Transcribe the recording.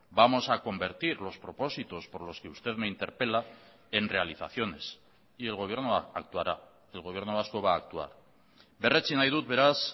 vamos a convertir los propósitos por los que usted me interpela en realizaciones y el gobierno actuará el gobierno vasco va a actuar berretsi nahi dut beraz